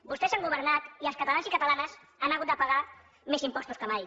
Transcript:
vostès han governat i els catalans i catalanes han hagut de pagar més impostos que mai